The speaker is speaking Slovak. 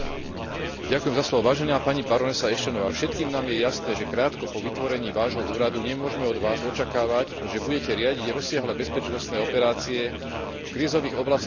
Vážená pani barónka Ashtonová, všetkým nám je jasné, že krátko po vytvorení Vášho úradu nemôžeme od Vás očakávať, že budete riadiť rozsiahle bezpečnostné operácie v krízových oblastiach celého sveta.